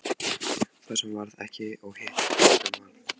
Það sem varð ekki og hitt sem varð